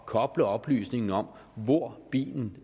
koble oplysningen om hvor bilen